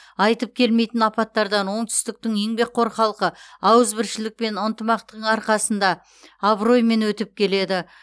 айтып келмейтін апаттардан оңтүстіктің еңбекқор халқы ауызбіршілік пен ынтымақтың арқасында абыроймен өтіп келеді